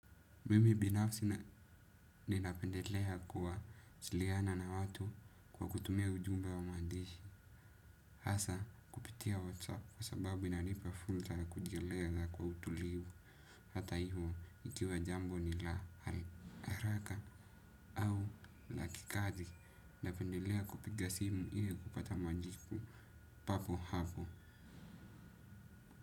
Mimi binafsi ninapendelea kuwasiliana na watu kwa kutumia ujumbe wa mandishi. Hasa, kupitia WhatsApp kwa sababu inanipa fursa ya kujielea za kwa utulivu. Hata hivyo, ikiwa jambo ni la haraka au la kikazi. Ninapendelea kupiga simu hivyo kupata majibu papo hapo.